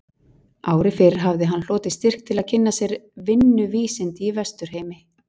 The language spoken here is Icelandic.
Ári fyrr hafði hann hlotið styrk til að kynna sér vinnuvísindi í Vesturheimi.